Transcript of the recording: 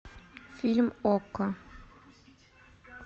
фильм окко